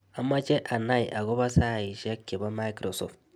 Amache anai agobo sheaishiek chebo microsoft